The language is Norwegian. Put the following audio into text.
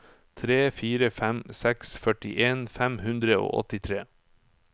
tre fire fem seks førtien fem hundre og åttitre